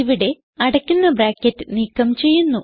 ഇവിടെ അടയ്ക്കുന്ന ബ്രാക്കറ്റ് നീക്കം ചെയ്യുന്നു